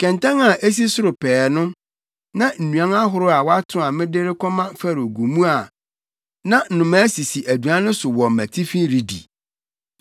Kɛntɛn a esi soro pɛɛ no, na nnuan ahorow a wɔato a mede rekɔma Farao gu mu a na nnomaa sisi aduan no so wɔ mʼatifi redi.”